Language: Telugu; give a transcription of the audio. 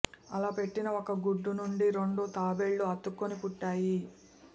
అలా పెట్టిన ఒక గుడ్డు నుండి రెండు తాబేళ్లు అతుక్కుని పుట్టాయి